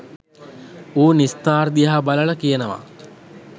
ඌ නිස්තාර් දිහා බලල කියනවා